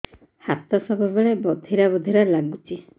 ହାତ ସବୁବେଳେ ବଧିରା ବଧିରା ଲାଗୁଚି